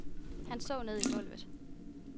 Han så ned i gulvet.